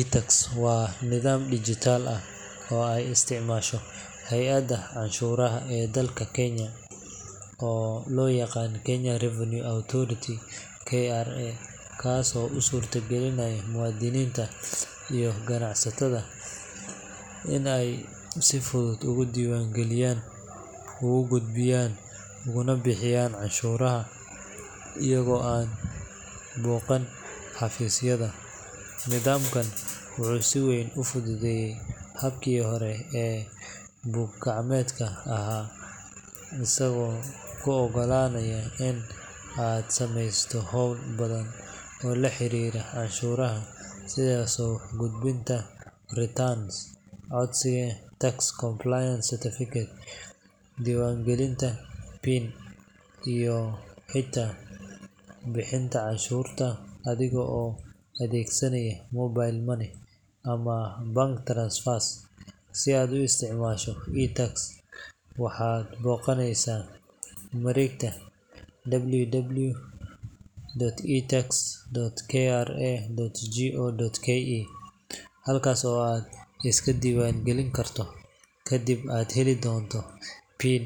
iTax waa nidaam dhijitaal ah oo ay isticmaasho hay’adda canshuuraha ee dalka Kenya oo loo yaqaan Kenya Revenue Authority (KRA), kaasoo u suurtagelinaya muwaadiniinta iyo ganacsatada in ay si fudud ugu diiwaangeliyaan, u gudbiyaan, ugana bixiyaan canshuuraha iyaga oo aan booqan xafiisyada. Nidaamkan wuxuu si weyn u fududeeyay habkii hore ee buug-gacmeedka ahaa, isagoo kuu oggolaanaya in aad samayso hawlo badan oo la xiriira canshuuraha sida soo gudbinta returns, codsiga tax compliance certificate, diiwaangelinta PIN, iyo xitaa bixinta canshuurta adiga oo adeegsanaya mobile money ama bank transfers. Si aad u isticmaasho iTax, waxaad booqaneysaa mareegta www.itax.kra.go.ke, halkaas oo aad iska diiwaan gelin karto, kadibna aad heli doonto PIN